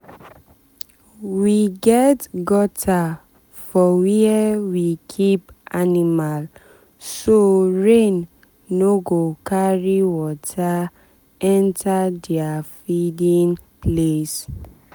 we get gutter for where we keep animal so rain no go carry water enter their feeding um place.